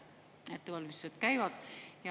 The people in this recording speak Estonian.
Ettevalmistused käivad.